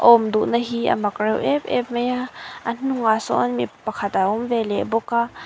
awm duhna hi amak reuh em em mai a a hnungah sawn mi pakhat a awm ve leh bawk a.